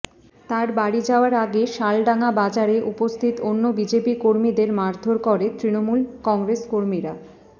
তাঁর বাড়ি যাওয়ার আগে শালডাঙ্গা বাজারে উপস্থিত অন্য বিজেপি কর্মীদের মারধর করে তৃণমূল কংগ্রেস কর্মীরা